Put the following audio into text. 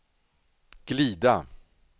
glida